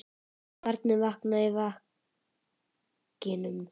Barnið vaknaði í vagninum.